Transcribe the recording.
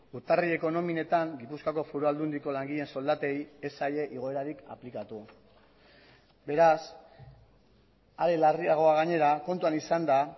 urtarrileko nominetan gipuzkoako foru aldundiko langileen soldatei ez zaie igoerarik aplikatu beraz are larriagoa gainera kontuan izanda